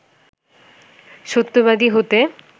সত্যবাদী হতে